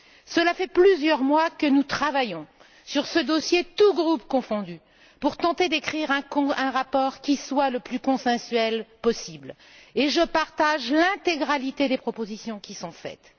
Cela fait plusieurs mois que nous travaillons sur ce dossier, tous groupes confondus, pour tenter d'écrire un rapport qui soit le plus consensuel possible, et je partage l'intégralité des propositions qui sont faites.